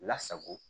Lasago